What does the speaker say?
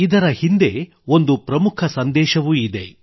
ಇದರ ಹಿಂದೆ ಒಂದು ಪ್ರಮುಖ ಸಂದೇಶವೂ ನೀಡುತ್ತಿದೆ